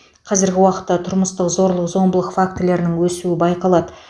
қазіргі уақытта тұрмыстық зорлық зомбылық фактілерінің өсуі байқалады